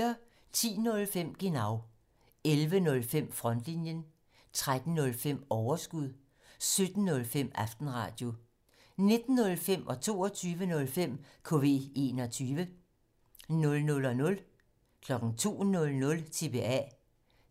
10:05: Genau 11:05: Frontlinjen 13:05: Overskud 17:05: Aftenradio 19:05: KV21 22:05: KV21 00:00: TBA